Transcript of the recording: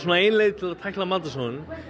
ein leið til að tækla matarsóun